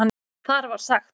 Þar var sagt